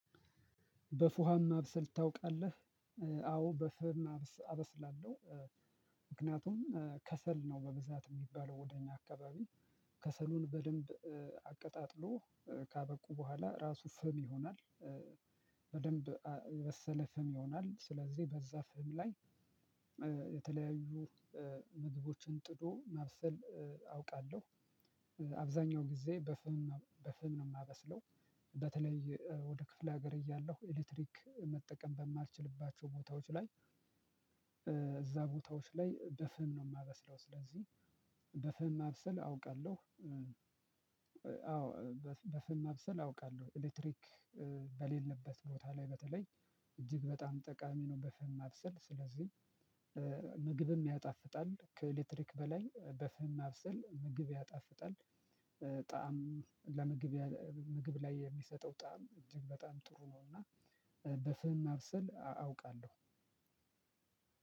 በፉሃም ማብሰል ታውቃልህ አዎ በፍም አበስላለው። ምክንያቱም ከሰል ነው በብዛት የሚባለው ወደ እኛ አካባቢ ከሰሉን በደንብ አቀጣጥሎ ካበቁ በኋላ ራሱ ፍም ይሆናል። በደንብ የበሰለ ፍም ይሆናል ስለዚህ በዛ ፍም ላይ የተለያዩ ምግቦችን ጥዶ ማብሰል አውቃለሁ። አብዛኛው ጊዜ በፍም በፍም ነው የማበስለው። በተለይ ወደ ክፍለ ሀገር እያለሁ ኤሌክትሪክ መጠቀም በማትችልባቸው ቦታዎች ላይ እዛ ቦታዎች ላይ በፍም ነው የማበስለው። ስለዚህ በፍም ማብሰል አውቃለሁ። አዎ በፍም ማብሰል አውቃለሁ ኤሌክትሪክ በሌለበት ቦታ ላይ በተለይ እጅግ በጣም ጠቃሚ ነው። በፍም ማብሰል ስለዚህ ምግብም ያጣፍጣል ከኤሌክትሪክ በላይ በፍህም ማብሰል ምግብ ያጣፍጣል። ጣዕም ለምግብ ምግብ ላይ የሚሰጠው ጣዕም እጅግ በጣም ጥሩ ነውና በፍህም ማብሰል አውቃለሁ።